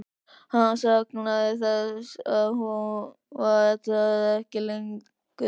Hann saknaði þess að hún var það ekki lengur.